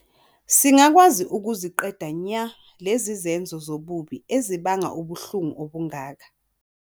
Singakwazi ukuziqeda nya lezi zenzo zobubi ezibanga ubuhlungu obungaka.